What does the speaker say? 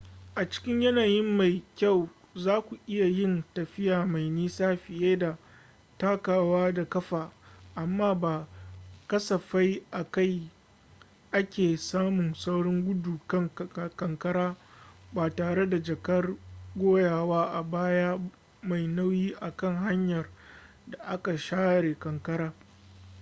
a cikin yanayi mai kyau zaku iya yin tafiya mai nisa fiye da takawa da ƙafa amma ba kasafai ake samun saurin gudu kan kankara ba tare da jakar goyawa a baya mai nauyi a kan hanyar da aka share ƙanƙara